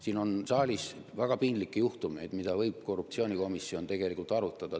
Siin on saalis olnud väga piinlikke juhtumeid, mida korruptsioonikomisjon võiks tegelikult arutada.